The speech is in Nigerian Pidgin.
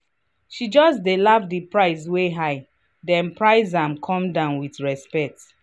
she just laugh the price wey high then price am come down with respect.